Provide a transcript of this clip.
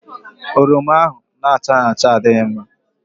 Oroma ahụ na-achaghị acha adịghị mma.